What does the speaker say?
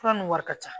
Fura nun wari ka ca